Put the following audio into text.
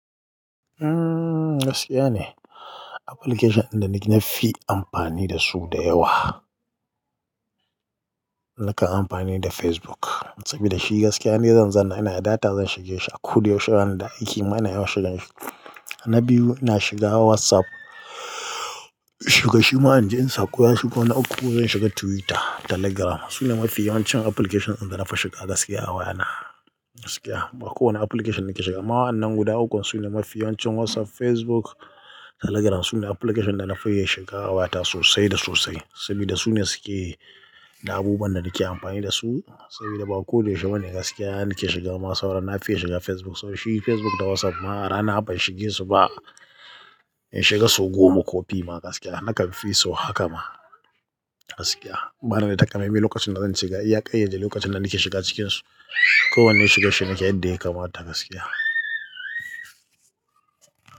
Umm gaskiya ne, application inda nake nafi amfani dasu da yawa, nakan amfani da Facebook. Saboda shi gaskiya inde zan zana ina da data zan shige shi a kudu yaushe zanada aiki mana yau shigan shi. Na biyu inashiga WhatsApp, shiga shima inje in sakuye shiga wani uku zan shiga Twitter, Telegram. Su ne mafi yawancin application inda nafi shiga gaskiya a wayana. Gaskiya, ba kowane application nake shiga. Amma wa'anan guda ukun su ne mafi yawancin WhatsApp, Facebook, Telegram su ne application danafi iya shiga awayata sosai da sosai. Saboda su ne suke da abubuwan da nake amfani dasu. Saboda ba kowane yaushe bane gaskiya nake shiga ma sauran, na fi iya shiga Facebook. To shi Facebook da WhatsApp ma rana ban shige su ba in shiga sau goma ko pima gaskiya. Nakanfi so haka ma gaskiya. Bani da takamamen lokacin da zan ce ga, iya kai yade lokacin da nake shiga cikin su. Ko wanne shigar shi nake yadda yakamata gaskiya.